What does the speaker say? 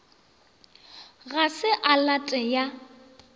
ga se a late ya